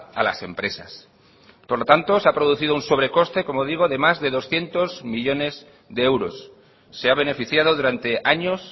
a las empresas por lo tanto se ha producido un sobrecoste como digo de más de doscientos millónes de euros se ha beneficiado durante años